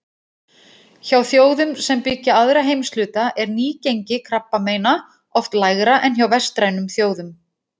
Hjá þjóðum sem byggja aðra heimshluta er nýgengi krabbameina oft lægra en hjá vestrænum þjóðum.